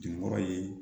Jeniyɔrɔ ye